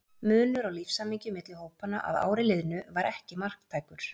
Munur á lífshamingju milli hópanna að ári liðnu var ekki marktækur.